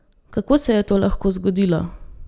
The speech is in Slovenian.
Kako se je to lahko zgodilo?